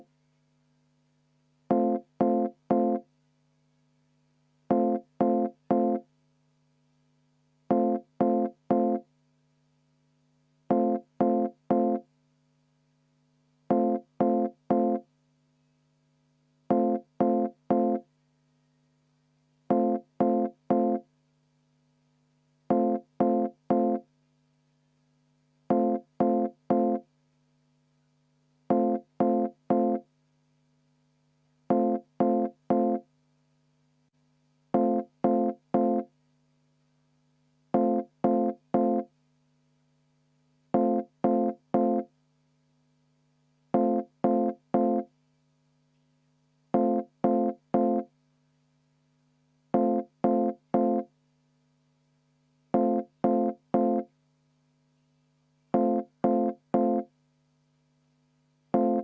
Kui oleks juhataja koosolek lõppenud õigel ajal ja kui me ei oleks praegu diskussiooni alustanud, siis me oleks jõudnud ilusti enne 20.15 ära hääletada ja vaheaja ka veel pidada.